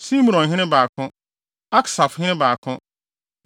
Simronhene 2 baako 1 Aksafhene 2 baako 1